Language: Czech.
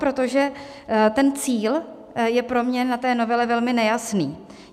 Protože ten cíl je pro mě na té novele velmi nejasný.